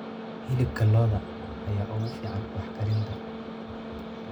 Hilibka lo'da ayaa ugu fiican wax-karinta.